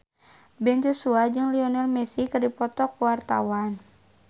Ben Joshua jeung Lionel Messi keur dipoto ku wartawan